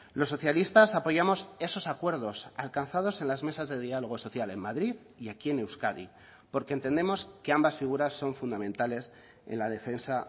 los socialistas apoyamos esos acuerdos alcanzados en las mesas de diálogo social en madrid y aquí en euskadi porque entendemos que ambas figuras son fundamentales en la defensa